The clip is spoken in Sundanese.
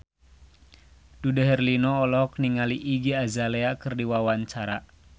Dude Herlino olohok ningali Iggy Azalea keur diwawancara